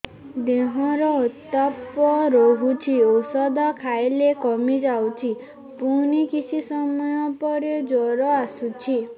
ଦେହର ଉତ୍ତାପ ରହୁଛି ଔଷଧ ଖାଇଲେ କମିଯାଉଛି ପୁଣି କିଛି ସମୟ ପରେ ଜ୍ୱର ଆସୁଛି